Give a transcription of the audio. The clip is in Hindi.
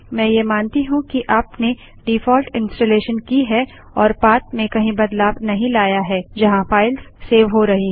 मैं ये मानती हूँ कि आपने डिफॉल्ट इन्स्टालेशन की है और पाथ में कहीं बदलाव नहीं लाया है जहाँ फाइल्स सेव हो रही हैं